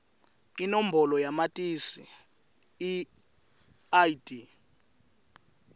inombolo yamatisi id